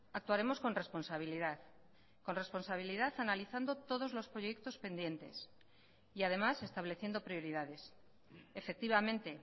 actuaremos con responsabilidad con responsabilidad analizando todos los proyectos pendientes y además estableciendo prioridades efectivamente